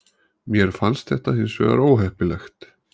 Mér finnst þetta hins vegar óheppilegt